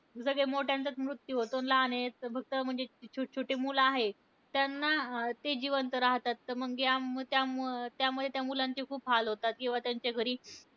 सगळे मोठ्यांचाचं मृत्यू होतो. लहान आहे ते फक्त म्हणजे जे छोटे छोटे मुलं आहेत, त्यांना अं ते जिवंत राहतात. तर मग त्या त्या त्यामुळे त्या मुलांचे खूप हाल होतात. किंवा त्यांच्या घरी